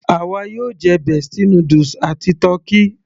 àwa yóò jẹ bestie noodles àti tọ́kì